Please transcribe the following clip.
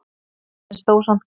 En stóð samt kyrr.